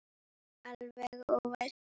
Alveg óvænt!